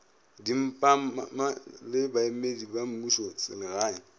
dimmapa le baemedi ba mmušoselegae